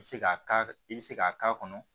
I bɛ se k'a k'a i bɛ se k'a k'a kɔnɔ